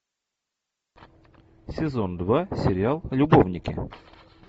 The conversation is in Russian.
сезон два сериал любовники